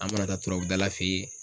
An mana taa turabu dala fɛ yen